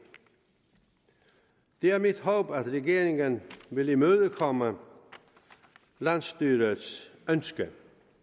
det er mit håb at regeringen vil imødekomme landsstyrets ønske